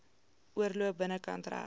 oorloop binnekant reg